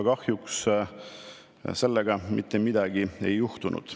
Kahjuks selle mõjul mitte midagi ei juhtunud.